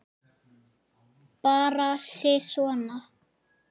Bara sisona.